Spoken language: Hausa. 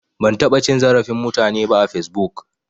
Ban taɓa cin zarafin mutane ba a fesbuk